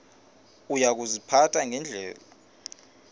uya kuziphatha ngendlela